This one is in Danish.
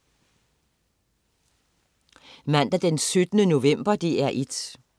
Mandag den 17. november - DR1: